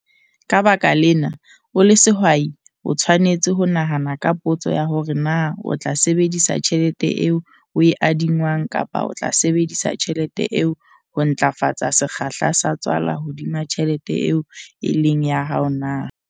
Ka baka lena, o le sehwai, o tshwanetse ho nahana ka potso ya hore na o tla sebedisa tjhelete eo o e adingwang kapa o tla sebedisa tjhelete eo ho ntlafatsa sekgahla sa tswala hodima tjhelete eo e leng ya hao na?